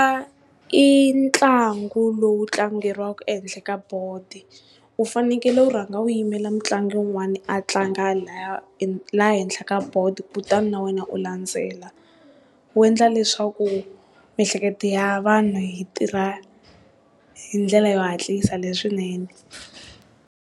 Ncuva i ntlangu lowu tlangeriwaka ehenhla ka bodo, u fanekele u rhanga wu yimela mutlangi wun'wani a tlanga laya laha henhla ka bodo, kutani na wena u landzela u endla leswaku miehleketo ya vanhu yi tirha hindlela yo hatlisa leswinene.